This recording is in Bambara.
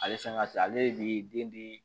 Ale fɛn ka teli ale de bi den di